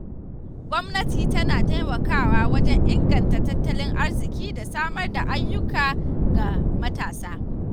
Gwamnati tana taimakawa wajen inganta tattalin arziki da samar da ayyuka ga matasa.